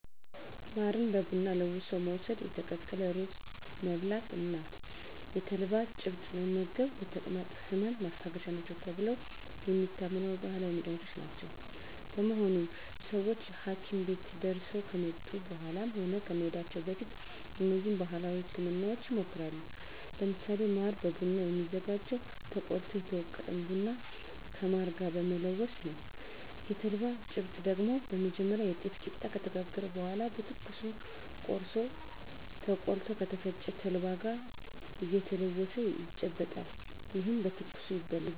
ማርን በቡና ለውሶ መውስድ፣ የተቀቀለ ሩዝ መብላት እና የተልባ ጭብጥ መመገብ ለተቅማጥ ህመም ማስታገሻ ናቸው ተብለው የሚታመኑ ባህላዊ መድሀኒቶች ናቸው። በመሆኑም ሰወች ሀኪም ቤት ደርሰው ከመጡ በኃላም ሆነ ከመሄዳቸው በፊት እነዚህን ባህላዊ ህክምናወች ይሞክራሉ። ለምሳሌ ማር በቡና የሚዘጋጀው ተቆልቶ የተወገጠን ቡና ከማር ጋር በመለወስ ነው። የተልባ ጭብጥ ደግሞ በመጀመሪያ የጤፍ ቂጣ ከተጋገረ በኃላ በትኩሱ ቆርሶ ተቆልቶ ከተፈጨ ተልባ ጋር እየተለወሰ ይጨበጣል። ይህም በትኩሱ ይበላል።